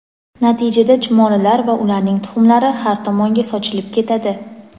Natijada chumolilar va ularning tuxumlari har tomonga sochilib ketadi.